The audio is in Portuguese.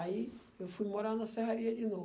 Aí eu fui morar na Serraria de